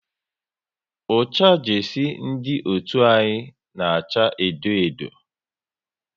Ucha jesie ndị otu anyị na acha edo edo